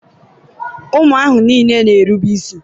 ụmụ ahụ niile na-erube isi.